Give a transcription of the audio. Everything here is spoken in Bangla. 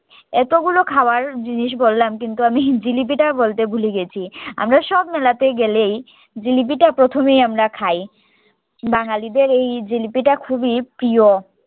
এতো গুলো খাবার জিনিস বললাম কিন্তু আমি জিলিপিটা বলতে ভুলে গেছি আমরা সব মেলাতে গেলেই জিলিপিটা প্রথমেই আমরা খাই বাঙালিদের এই জিলিপিটা খুবই প্রিয়